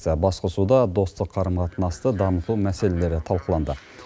басқосуда достық қарым қатынасты дамыту мәселелері талқыланды